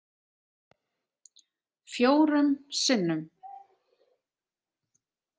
Fjórum sinnum?